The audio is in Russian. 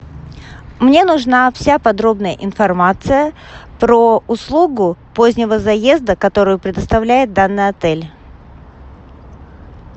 мне нужна вся подробная информация про услугу позднего заезда которую предоставляет данный отель